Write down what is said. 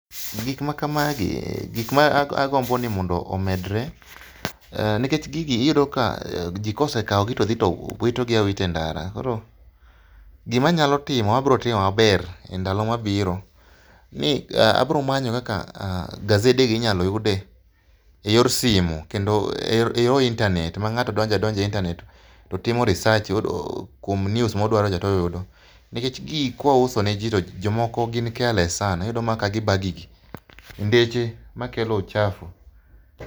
Gikma kamagi, gikma agombo ni mondo omedre, nikech gigi iyudo ka jii kosekao gi todhi to wito gi awita e ndara. Koro gima anyalo timo ma bro timo maber e ndalo mabiro ni abro manyo kaka gazede gi inyal yude yor simu kata e yor internet mangato donjo adonja e internet totimo research kuom news modwaro cha toyudo nikech gigi kwauso ne jii jomoko gin careless sana[sc] iyudo mana ka gibaa gigi e ndeche makelo uchafu